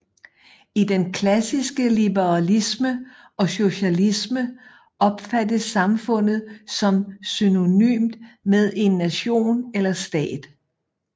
I den klassiske liberalisme og socialisme opfattes samfundet som synonymt med en nation eller stat